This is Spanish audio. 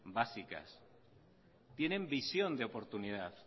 básicas tienen visión de oportunidad